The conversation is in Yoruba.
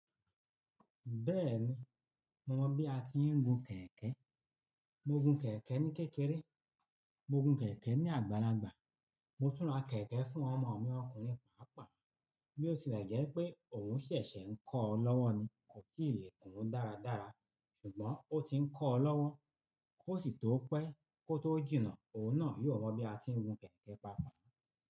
Bẹ́ẹ̀ni, mo mọ bí a ti ń gun kẹ̀kẹ́. Mo gun kẹ̀kẹ́ ní kékeré, mo gun kẹ̀kẹ́ ní àgbàlagbà, mo tún ra kẹ̀kẹ́ fún ọmọ mi ọkùnrin pàápàá. Bí ó ṣe rẹ̀ jẹ́ pé òun ṣẹ̀ṣẹ̀ ń kọ́ ọ́ lọ́wọ́ ni, kò tii le gkùn ún dáradára ṣùgbọ́n ó ti ń kọ́ ọ́ lọ́wọ́. Kó sì tó pẹ́, kó tó jìnnà, òun náà yóò mọ bí a ti ń gun kẹ̀kẹ́ pàápàá.